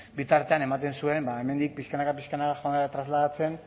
bitartean ematen zuen hemendik pixkanaka pixkanaka trasladatzen